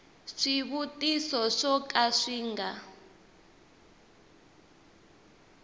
swivutiso swo ka swi nga